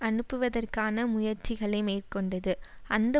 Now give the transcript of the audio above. அனுப்புவதற்கான முயற்சிகளை மேற்கொண்டது அந்த